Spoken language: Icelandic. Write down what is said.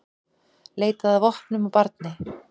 Leitaði að vopnum á barni